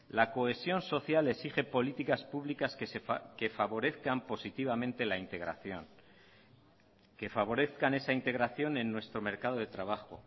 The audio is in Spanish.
la cohesión social exige políticas públicas que favorezcan positivamente la integración que favorezcan esa integración en nuestro mercado de trabajo